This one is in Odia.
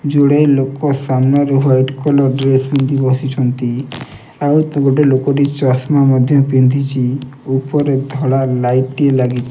ଯୁଡେ ଲୋକ ସାମ୍ନାରୁ ୱାଇଟ କଲର୍ ଡ୍ରେସ ପିନ୍ଧି ବସିଛନ୍ତି ଆଉ ଗୋଟେ ଲୋକଟି ଚଷମା ମଧ୍ୟ ପିନ୍ଧିଛି ଉପରେ ଧଳା ଲାଇଟ୍ ଟିଏ ଲାଗିଛି।